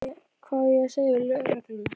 Hvað á ég að segja lögreglunni?